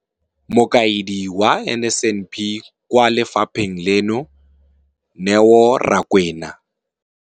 Mokaedi wa NSNP kwa lefapheng leno, Neo Rakwena.